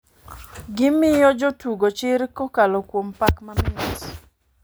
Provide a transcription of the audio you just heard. Gimiyo jo tugo chir kakolo kuom pak mamit.